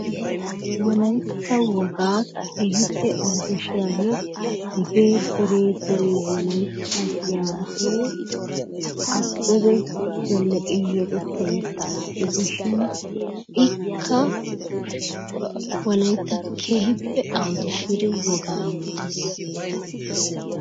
Wolaytta wogaa keehippe awuddashiyagee hegee deree deree wolaytta giyagee Abbebe Zeleqen yexetta yettaa gidishin ikka wolaytta keehippe awudashiri wogaa yootees.